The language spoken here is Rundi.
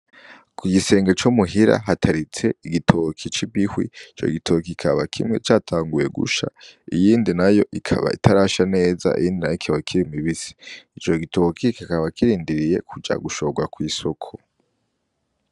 Ku gisenge co muhira nataritse igitoki c'imihwi, ico gitoki kikaba kimwe catanguye, ikindi naco kikaba kitarasha neza, ikindi naco kikiri kibisi . Ico gitoki kikaba kirindiriye kuja gushorwa kw'isoko.